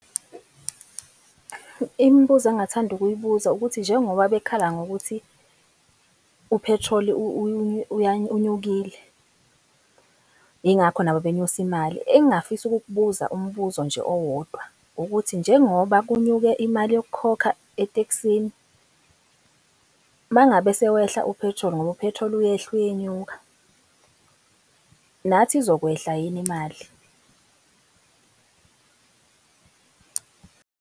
Imibuzo engingathanda ukuyibuza ukuthi njengoba bekhala ngokuthi u-petrol-i unyukile, ingakho nabo benyusa imali. Engafisa ukukubuza, umbuzo nje owodwa, ukuthi njengoba kunyuke imali yokukhokha etekisini mangabe sewehla u-petrol ngoba u-petrol uyehla, uyenyuka, nathi izokwehla yini imali?